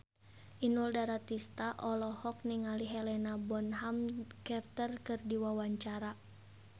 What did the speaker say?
Inul Daratista olohok ningali Helena Bonham Carter keur diwawancara